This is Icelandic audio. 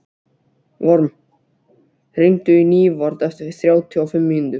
Vorm, hringdu í Nývarð eftir þrjátíu og fimm mínútur.